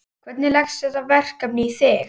Hvernig leggst þetta verkefni í þig?